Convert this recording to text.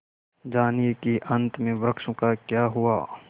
जानिए कि अंत में वृक्षों का क्या हुआ